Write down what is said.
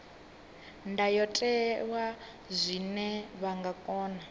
ndayotewa zwine vha nga kona